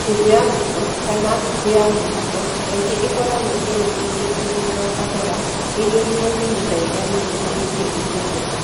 Nyũngũ ya ngũkũ, kana ngũkũ ya mũtugo, kaingĩ ĩkoragwo ĩrĩkĩtie kũruga kahora ĩiyũirũo nĩ mĩthaiga nĩguo ĩtuĩke irio njega.